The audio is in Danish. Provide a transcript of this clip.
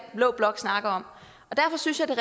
blå blok snakker om derfor synes jeg det